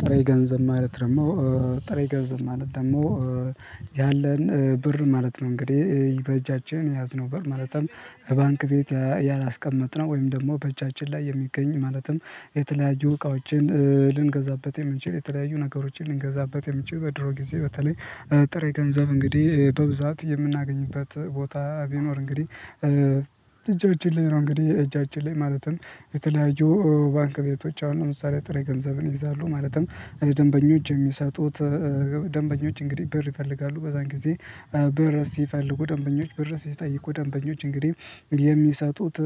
ጥሬ ገንዘብ ማለት ደሞ ጥሬ ገንዘብ ማለት ደሞ ያለን ብር ማለት ነው። እንግዲህ በእጃችን የያዝነው ብር ማለትም ባንክ ቤት ያላስቀመጥነው ወይም ደግሞ በእጃችን ላይ የሚገኝ ማለትም የተለያዩ እቃዎችን ልንገዛበት የምንችል የተለያዩ ነገሮችን ልንገዛበት የምንችል በድሮ ጊዜ በተለይ ጥሬ ገንዘብ እንግዲህ በብዛት የምናገኝበት ቦታ ቢኖር እንግዲህ እጃችን ላይ ነው። እንግዲህ እጃችን ላይ ማለትም የተለያዩ ባንክ ቤቶች አሁን ለምሳሌ ጥሬ ገንዘብን ይይዛሉ ማለትም ደንበኞች የሚሰጡት ደንበኞች እንግዲህ ብር ይፈልጋሉ በዛን ጊዜ ብር ሲፈልጉ ደንበኞች ብር ሲጠይቁ ደንበኞች እንግዲህ የሚሰጡት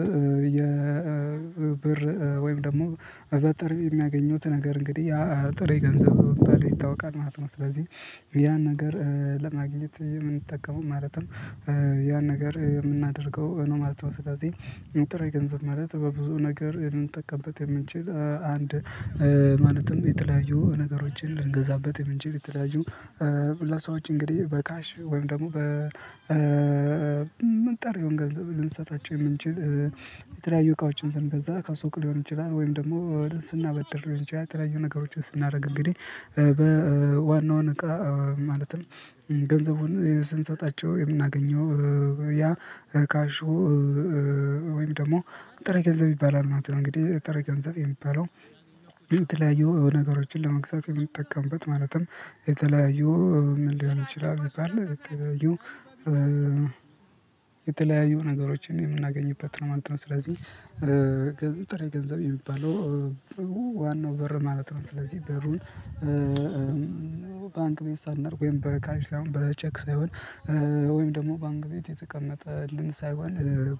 የብር ወይም ደግሞ በጥሬ የሚያገኙት ነገር እንግዲህ ያ ጥሬ ገንዘብ በመባል ይታወቃል ማለት ነው። ስለዚህ ያ ነገር ለማግኘት የምንጠቀመው ማለትም ያ ነገር የምናደርገው ነው ማለት ነው። ስለዚህ ጥሬ ገንዘብ ማለት በብዙ ነገር ልንጠቀምበት የምንችል አንድ ማለትም የተለያዩ ነገሮችን ልንገዛበት የምንችል የተለያዩ ለሰዎች እንግዲህ በካሽ ወይም ደግሞ በምን ጥሬ የሆነ ገንዘብ ልንሰጣቸው የምንችል የተለያዩ እቃዎችን ስንገዛ ከሱቅ ሊሆን ይችላል ወይም ደግሞ ስናበጥር ሊሆን ይችላል የተለያዩ ነገሮችን ስናደርግ እንግዲህ በዋናው እቃ ማለትም ገንዘቡን ስንሰጣቸው የምናገኘው ያ ካሽ ወይም ደግሞ ጥረ ገንዘብ ይባላል ማለት ነው። እንግዲህ ጥረ ገንዘብ የሚባለው የተለያዩ የሆነ ነገሮችን ለመግለጽ የምንጠቀምበት ማለትም የተለያዩ ምን ሊሆን ይችላል ቢባል የተለያዩ ነገሮችን የምናገኝበት ነው ማለት ነው። ስለዚህ ጥሬ ገንዘብ የሚባለው ዋናው በር ማለት ነው ስለዚህ በሩን ባንክ ሜሳ እናድርግ ወይም በካሽ ሳይሆን በቸክ ሳይሆን ወይም ደሞ ባንክ ቤት የተቀመጠልን ሳይሆን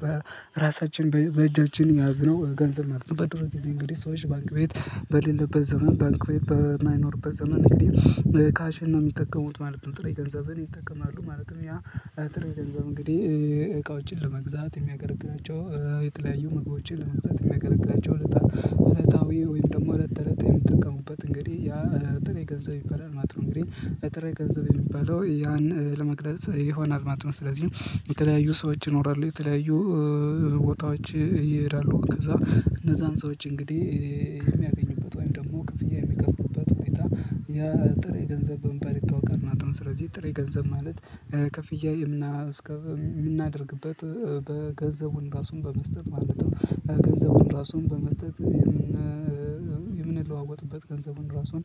በራሳችን በእጃችን የያዝነው ገንዘብ ማለት ነው። በድሮ ጊዜ እንግዲህ ሰዎች ባንክ ቤት በሌለበት ዘመን ባንክ በማይኖር በዘመን እንግዲህ ካሽን ነው የሚጠቀሙት ማለት ነው። ጥሬ ገንዘብህን ይጠቀማሉ ማለትም ያ ጥሬ ገንዘብ እንግዲህ እቃዎችን ለመግዛት የሚያገርግራቸው የተለያዩ ምግቦችን ለመግዛት የሚያገልግላቸው ለጣል እለታዊ ወይም ደግሞ እለት ተለት የሚጠቀሙበት እንግዲህ ያ ጥሬ ገንዘብ ይባላል ማለት ነው። እንግዲህ ጥሬ ገንዘብ የሚባለው ያን ለመግለጽ የሆነ አድማጭ ነው ስለዚህ የተለያዩ ሰዎች ይኖራሉ የተለያዩ ቦታዎች ይሄዳሉ ከዛ እነዛን ሰዎች እንግዲህ የሚያገኙበት ወይም ደግሞ ክፍያ የሚከፍሉበት ሁኔታ ጥሬ ገንዘብ በመባል ይታወቃል ማለት ነው። ስለዚህ ጥሬ ገንዘብ ማለት ክፍያ ይምናስካ የምናደርግበት በገንዘቡን ራሱን በመስጠት ማለት ነው ገንዘቡን ራሱን በመስጠት የምንለዋወጥበት ገንዘቡን ራሱን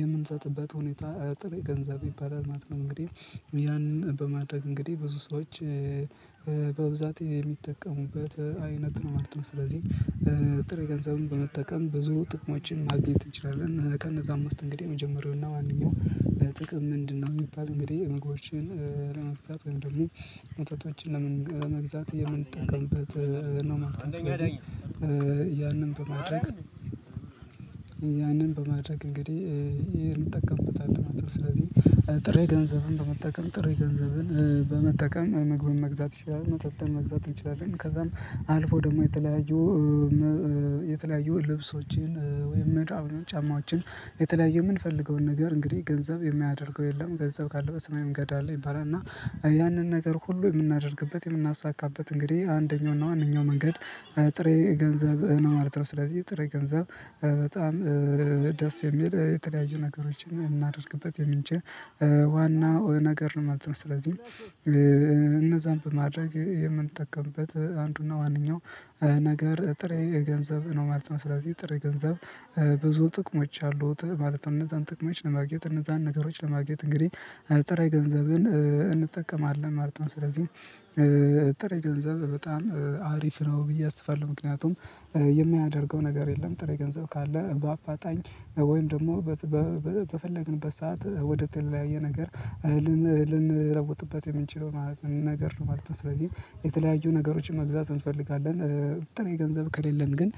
የምንሰጥበት ሁኔታ ጥሬ ገንዘብ ይባላል ማለት ነው። እንግዲህ ያንን በማድረግ እንግዲህ ብዙ ሰዎች በብዛት የሚጠቀሙበት አይነት ነው ማለት ነው። ስለዚህ ጥሬ ገንዘብም በመጠቀም ብዙ ጥቅሞችን ማግኘት እንችላለን ከነዛ አምስት እንግዲህ የመጀመሪያው እና ማንኛውም ጥቅም ምንድነው የሚባል እንግዲህ ምግቦችን ለመግዛት ወይም ደግሞ መጠጦችን ለመግዛት የምንጠቀምበት ነው ማለት ነው። ስለዚህ ያንን በማድረግ ያንን በማድረግ እንግዲህ ይሄን ይጠቀምበታል ማለት ነው። ስለዚህ ጥሬ ገንዘብን በመጠቀም ጥሬ ገንዘብን በመጠቀም ምግብን መግዛት ይችላል መጠጥን መግዛት እንችላለን። ከዛም አልፎ ደግሞ የተለያዩ የተለያዩ ልብሶችን ወይም ደሞ ጫማዎችን የተለያየ የምንፈልገውን ነገር እንግዲህ ገንዘብ የሚያደርገው የለም ገንዘብ ካለ በስማይ መንገድ አለ ይባላልና ያንን ነገር ሁሉ የምናደርግበት የምናሳካበት እንግዲህ አንደኛው እና ዋናኛው መንገድ ጥሬ ገንዘብ ነው ማለት ነው። ስለዚህ ጥሬ ገንዘብ በጣም ደስ የሚል የተለያዩ ነገሮችን ልናደርግበት የምንችል ዋናው ነገር ነው ማለት ነው። ስለዚህ እነዛን በማድረግ የምንጠቀምበት አንዱና ዋነኛው ነገር ጥሬ ገንዘብ ነው ማለት ነው። ስለዚህ ጥሬ ገንዘብ ብዙ ጥቅሞች አሉት ማለት ነው። እነዛን ጥቅሞች ለማግኘት እነዛን ነገሮች ለማግኘት እንግዲህ ጥሬ ገንዘብን እንጠቀማለን ማለት ነው። ስለዚህ ጥሬ ገንዘብ በጣም አሪፍ ነው ብዬ አስባለውምክንያቱም የማያደርገው ነገር የለም። ጥሬ ገንዘብ ካለ በአፋጣኝ ወይም ደግሞ በፈለግንበት ሰዓት ወደ ተለያየ ነገር ልንለወጥበት የምንችለው ማለት ነው ነገር ነው ማለት ነው። ስለዚህ የተለያዩ ነገሮችን መግዛት እንፈልጋለን ጥሬ ገንዘብ ከሌለን ግን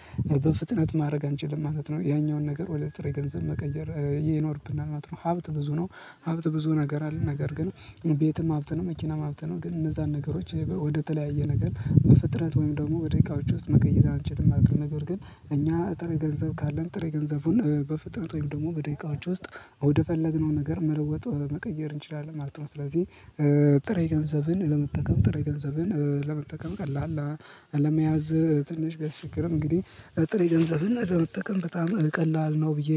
በፍጥነት ማረግ አንችልም ማለት ነው። ያኛውን ነገር ወደ ጥሬ ገንዘብ መቀየር ይኖርብናል ማለት ነው። ሀብት ብዙ ነው። ሀብት ብዙ ነገር አለ ነገር ግን ቤትም ሀብት ነው። መኪናም ሀብት ነው። ግን እነዛን ነገሮች ወደተለያየ ነገር በፍጥነት ወይም ደግሞ በደቂቃዎች ውስጥ መቀየር አንችልም ማለት ነው። ነገር ግን እኛ ጥሬ ገንዘብ ካለን ጥሬ ገንዘቡን በፍጥነት ወይም ደግሞ በደቂቃዎች ውስጥ ወደ ፈለግነው ነገር መለወጥ መቀየር እንችላለን ማለት ነው። ስለዚህ ጥሬ ገንዘብን ለመጠቀም ጥሬ ገንዘብን ለመጠቀም ቀላላ ለመያዝ ትንሽ ቢያስቸግርም እንግዲህ ጥሬ ገንዘብን ይዘህ ጥቅም በጣም ቀላል ነው ብዬ